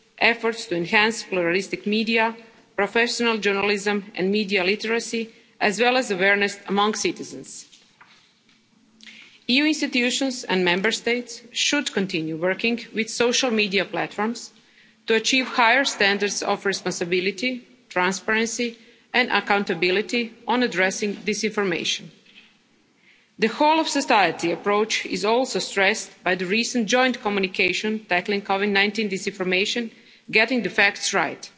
rules, efforts to enhance pluralistic media, professional journalism and media literacy, as well as awareness among citizens. EU institutions and Member States should continue working with social media platforms to achieve higher standards of responsibility, transparency and accountability on addressing disinformation. The whole society approach is also stressed by the recent Joint Communication Tackling COVID-19 disinformation Getting the facts